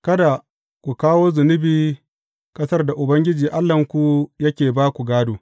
Kada ku kawo zunubi a ƙasar da Ubangiji Allahnku yake ba ku gādo.